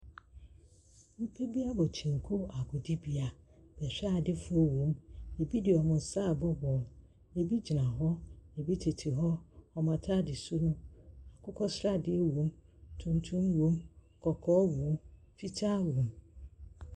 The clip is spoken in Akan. Nnipa bi abɔ kyɛnku agodibea, bɛhwɛadefoɔ wɔm, bi de wɔn nsa ɛrebɔ bɔɔlo, bi gyinagyina hɔ, bi tete hɔ, wɔn ataadesuo no, akokɔsradeɛ wɔm, tuntum wɔm, kɔkɔɔ wɔm, fitaa wɔm.